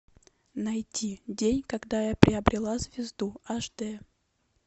найти день когда я приобрела звезду аш дэ